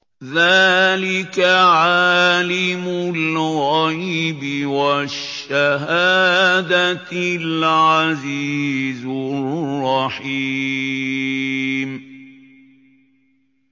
ذَٰلِكَ عَالِمُ الْغَيْبِ وَالشَّهَادَةِ الْعَزِيزُ الرَّحِيمُ